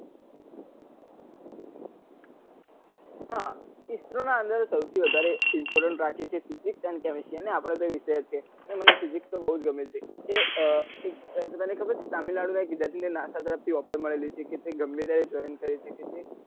હા isro અંદર સૌથી વધારે important રાખે છે physics and chemistry અને અઆપ્ડો તો વિષય જ છે અને મને physics તો બઉ જ ગમે છે એ એક તને ખબર છે તામીલનાડુ નાં એક વિદ્યાર્થી ને NASA તરફ થી offer મળેલી છે કે એ ગમે ત્યારે join કરી સકે છે.